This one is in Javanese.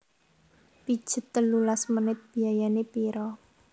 Pijet telulas menit biayane piro?